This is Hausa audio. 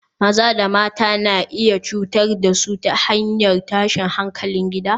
Maza da mata na iya cutar da su ta hanyar tashin hankalin gida